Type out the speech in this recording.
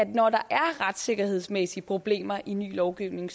når der er retssikkerhedsmæssige problemer i ny lovgivning